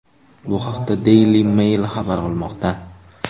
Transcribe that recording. Bu haqda Daily Mail xabar qilmoqda .